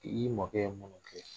I mɔkɛ ye minnu kɛ